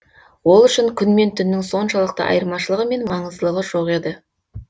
ол үшін күн мен түннің соншалықты айырмашылығы мен маңыздылығы жоқ еді